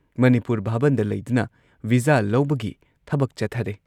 ꯃꯅꯤꯄꯨꯔ ꯚꯥꯕꯟꯗ ꯂꯩꯗꯨꯅ ꯚꯤꯖꯥ ꯂꯧꯕꯒꯤ ꯊꯕꯛ ꯆꯠꯊꯔꯦ ꯫